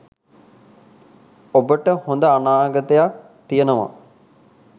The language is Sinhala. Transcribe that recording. ඔබට හොඳ අනාගතයක් තියෙනවා